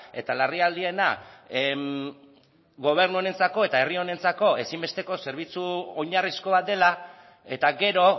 eta larrialdiena gobernu honentzako eta herri honentzako ezinbesteko zerbitzu oinarrizko bat dela eta gero